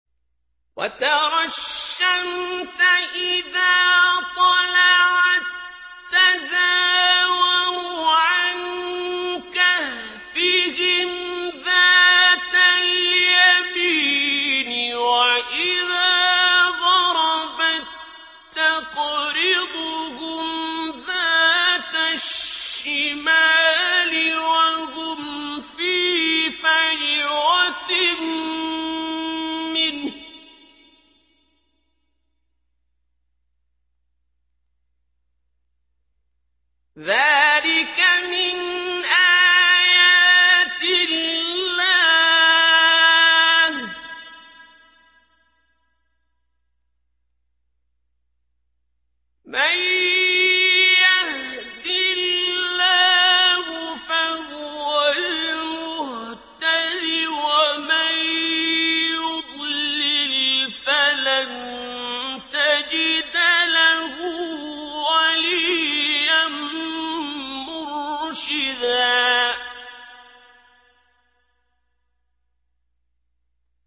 ۞ وَتَرَى الشَّمْسَ إِذَا طَلَعَت تَّزَاوَرُ عَن كَهْفِهِمْ ذَاتَ الْيَمِينِ وَإِذَا غَرَبَت تَّقْرِضُهُمْ ذَاتَ الشِّمَالِ وَهُمْ فِي فَجْوَةٍ مِّنْهُ ۚ ذَٰلِكَ مِنْ آيَاتِ اللَّهِ ۗ مَن يَهْدِ اللَّهُ فَهُوَ الْمُهْتَدِ ۖ وَمَن يُضْلِلْ فَلَن تَجِدَ لَهُ وَلِيًّا مُّرْشِدًا